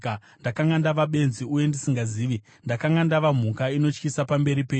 ndakanga ndava benzi uye ndisingazivi; ndakanga ndava mhuka inotyisa pamberi penyu.